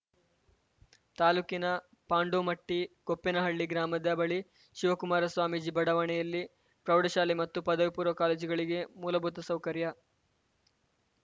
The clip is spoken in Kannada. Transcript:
ತಾಲೂಕಿನ ಪಾಂಡೋಮಟ್ಟಿಗೋಪ್ಪೇನಹಳ್ಳಿ ಗ್ರಾಮದ ಬಳಿ ಶಿವಕುಮಾರ ಸ್ವಾಮಿಜಿ ಬಡಾವಣೆಯಲ್ಲಿ ಪ್ರೌಢಶಾಲೆ ಮತ್ತು ಪದವಿ ಪೂರ್ವ ಕಾಲೇಜುಗಳಿಗೆ ಮೂಲಭೂತ ಸೌಕರ್ಯ